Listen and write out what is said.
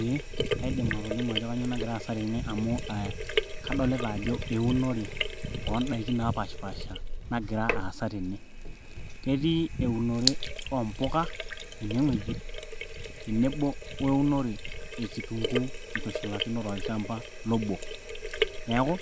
ee kaidim atolimu ajo kanyio nagira aasa tene amu kadolita ajo eunore oondaiki napashipasha nagira aasa tene ketii eunore oompuka enewueji tenebo weunore e kitunguu itushulakino tolchamba lobo neeku